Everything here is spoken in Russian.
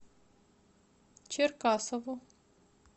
черкасову